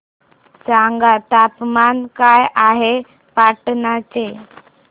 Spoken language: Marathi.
सांगा तापमान काय आहे पाटणा चे